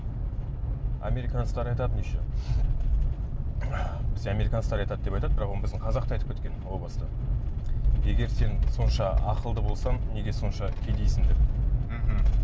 американецтер айтатын еще бізде американецтер айтады деп айтады бірақ оны біздің қазақ та айтып кеткен ол баста егер сен сонша ақылды болсаң неге сонша кедейсің деп мхм